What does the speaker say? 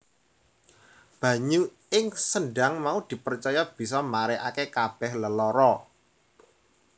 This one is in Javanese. Banyu ing sendhang mau dipercaya bisa marèake kabèh lelara